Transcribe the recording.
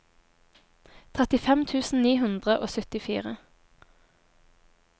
trettifem tusen ni hundre og syttifire